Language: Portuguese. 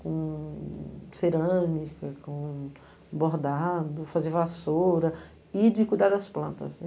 Com cerâmica, com bordado, fazia vassoura e de cuidar das plantas.